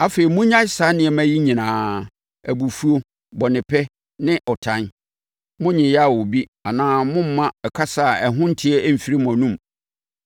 Afei, monnyae saa nneɛma yi nyinaa: abufuo, bɔnepɛ, ne ɔtan. Monnyeya obi anaa mommma kasa a ɛho nte mfiri mo anom.